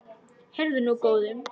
Heyrðu nú, góði!